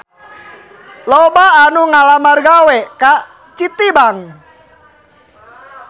Loba anu ngalamar gawe ka Citibank